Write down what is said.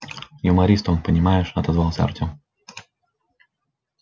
юморист он понимаешь отозвался артём